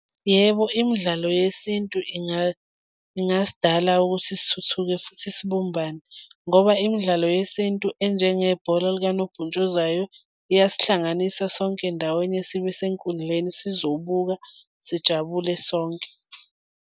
Yebo, imidlalo yesintu ingasidala ukuthi sithuthuke futhi sibumbane ngoba imidlalo yesintu enjengebhola likanobhuntshuzwayo liyasihlanganisa sonke ndawonye, sibe senkundleni, sizobuka sijabule sonke.